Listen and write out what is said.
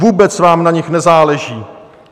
Vůbec vám na nich nezáleží.